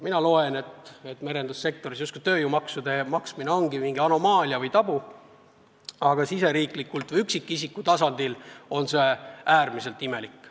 Olen aru saanud, et merendussektoris on tööjõumaksude maksmine justkui mingi anomaalia või tabu, aga riigi seisukohalt või üksikisiku tasandil on see äärmiselt imelik.